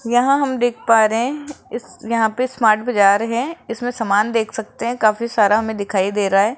यहां हम देख पा रहे इस यहां पे स्मार्ट बाजार है इसमें सामान देख सकते हैं काफी सारा हमें दिखाई दे रहा है।